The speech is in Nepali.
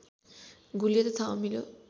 गुलियो तथा अमिलो